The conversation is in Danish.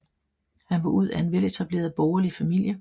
Han var ud af en veletableret borgerlig familie